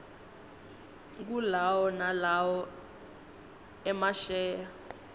kulawo nalowo emasheya